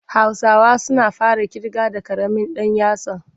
Hausawa suna fara ƙirga da ƙaramin ɗan yatsa.